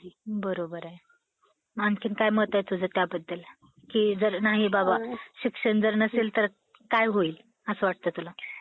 दुभाषी या पदावर ते नियुक्त झाले होते. आताच सांगतलं ते काय असतं. खिरस्तेदार, मुंचीस, इनामी commisioner judge आदी पदांवर त्यांनी काम केलेलं आहे. त्यांना सरकारने रावबहादुर, हि पदवी दिलेली होती.